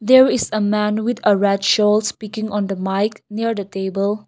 there is man with a red shawl speaking on the mike near the table.